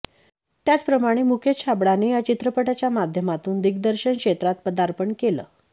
त्याचप्रमाणे मुकेश छाबडाने या चित्रपटाच्या माध्यमातून दिग्दर्शन क्षेत्रात पदार्पण केलं